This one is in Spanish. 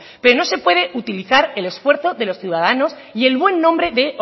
pero no se puede utilizar el esfuerzo de los ciudadanos y el buen nombre de